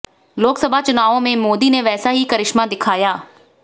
लोकसभा चुनावों में मोदी ने वैसा ही करिश्मा दिखाया